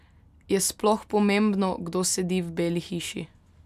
Je sploh pomembno, kdo sedi v Beli hiši?